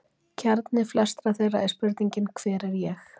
Kjarni flestra þeirra er spurningin: Hver er ég?